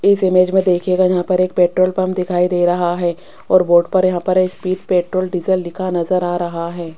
इस इमेज में देखिएगा यहां पर एक पेट्रोल पंप दिखाई दे रहा है और बोर्ड पर यहां पर एक स्पीड पेट्रोल डीजल लिखा नज़र आ रहा है।